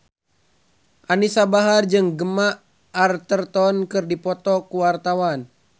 Anisa Bahar jeung Gemma Arterton keur dipoto ku wartawan